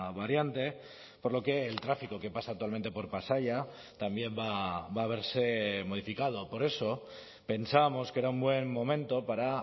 variante por lo que el tráfico que pasa actualmente por pasaia también va a verse modificado por eso pensábamos que era un buen momento para